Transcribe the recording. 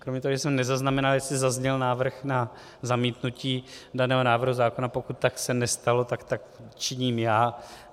Kromě toho, že jsem nezaznamenal, jestli zazněl návrh na zamítnutí daného návrhu zákona, pokud se tak nestalo, tak tak činím já.